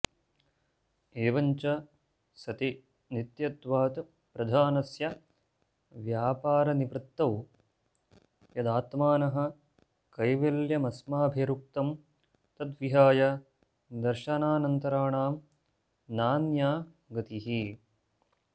एवं च सति नित्यत्वात् प्रधानस्य व्यापारनिवृत्तौ यदात्मनः कैवल्यमस्माभिरुक्तं तद्विहाय दर्शनान्तराणां नान्या गतिः